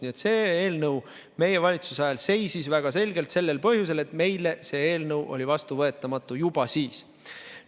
Nii et see eelnõu meie valitsuse ajal seisis väga selgelt sellel põhjusel, et meile oli see vastuvõetamatu, juba siis.